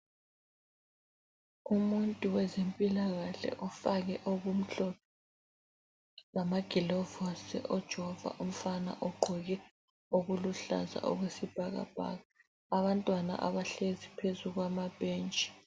Umuntu wezempilakahle ofake okumhlophe lamagilovusi ujova umfana ogqoke okuluhlaza okwesibhakabhaka. Abantwana abahlezi phezu kwamabhentshi.